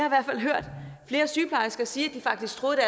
i hvert fald hørt flere sygeplejersker sige at de faktisk troede at